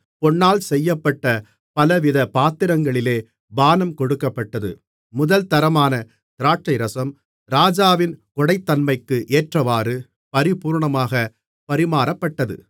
பொன்னால் செய்யப்பட்ட பலவித பாத்திரங்களிலே பானம் கொடுக்கப்பட்டது முதல்தரமான திராட்சைரசம் ராஜாவின் கொடைத்தன்மைக்கு ஏற்றவாறு பரிபூரணமாகப் பரிமாறப்பட்டது